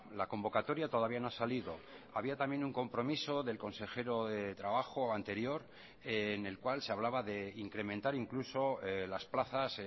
la convocatoria todavía no ha salido había también un compromiso del consejero de trabajo anterior en el cual se hablaba de incrementar incluso las plazas